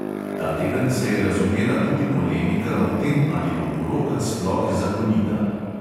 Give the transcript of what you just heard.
Ta teden se je razvnela tudi polemika o tem, ali bo poroka sploh zakonita.